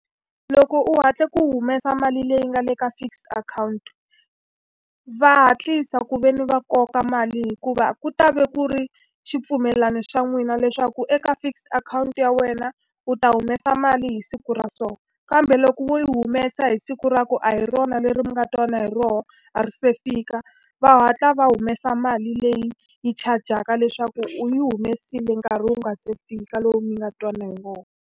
Loko u hatle ku humesa mali leyi nga le ka fixed akhawunti, va hatlisa ku ve ni va koka mali hikuva ku ta va ku ri xipfumelana xa n'wina leswaku eka fixed akhawunti ya wena u ta humesa mali hi siku ra so. Kambe loko wo yi humesa hi siku ra ku a hi rona leri mi nga twana hi rona, a ri se fika, va hatla va humesa mali leyi yi chajaka leswaku u yi humesile nkarhi wu nga se fika lowu mi nga twanana hi wona.